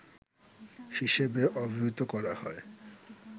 হিসেবে অবহিত করা হয়